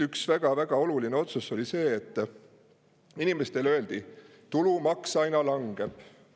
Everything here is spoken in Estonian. Üks väga-väga oluline otsus oli see, et inimestele öeldi, et tulumaks aina langeb.